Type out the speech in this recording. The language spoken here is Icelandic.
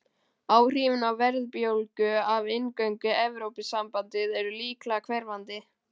Áhrifin á verðbólgu af inngöngu í Evrópusambandið eru líklegast hverfandi.